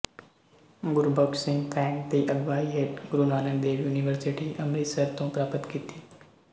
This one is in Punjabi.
ਗੁਰਬਖ਼ਸ਼ ਸਿੰਘ ਫਰੈਂਕ ਦੀ ਅਗਵਾਈ ਹੇਠ ਗੁਰੂ ਨਾਨਕ ਦੇਵ ਯੂਨੀਵਰਸਿਟੀ ਅੰਮ੍ਰਿਤਸਰ ਤੋਂ ਪ੍ਰਾਪਤ ਕੀਤੀ